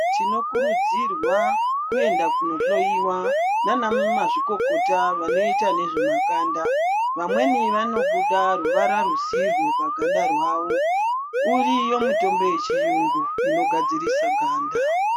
Rinokurudzira kuenda kunohloiwa nana mazvikokota vedu vanoita ngezvemakanda vamweni vanobuda ruvara rwisirwo paganda rwavo uriyo mutombo yechirungu unogadzirisa ganda.